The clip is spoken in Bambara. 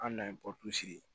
An nana ye sigi